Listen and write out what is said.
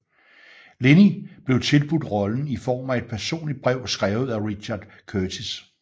Linney blev tilbudt rollen i form af et personligt brev skrevet af Richard Curtis